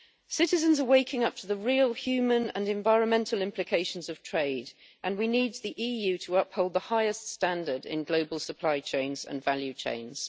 Citizens are waking up to the real human and environmental implications of trade, and we need the EU to uphold the highest standards in global supply chains and value chains.